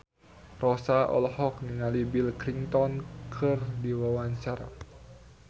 Rossa olohok ningali Bill Clinton keur diwawancara